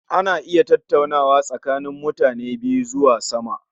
Ana iya tattaunawa tsakanin mutani biyu zuwa sama